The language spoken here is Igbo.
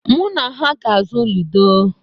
Mụ na ha ga-azụ ludo.